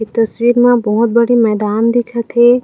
ए तस्वीर मा बोहत बड़े मैदान दिखत हे।